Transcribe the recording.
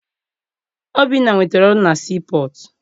Obinna nwetara ọrụ na sii pọtụ.